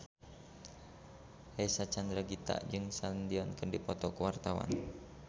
Reysa Chandragitta jeung Celine Dion keur dipoto ku wartawan